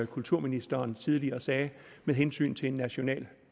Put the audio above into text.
kulturministeren tidligere sagde med hensyn til en national